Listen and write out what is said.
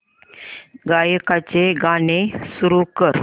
गायकाचे गाणे सुरू कर